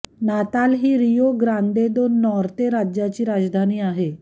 नाताल ही Rio Grande do Norte राज्याची राजधानी आहे